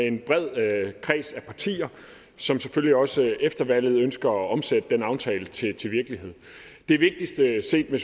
en bred kreds af partier som selvfølgelig også efter valget ønsker at omsætte den aftale til til virkelighed det vigtigste set med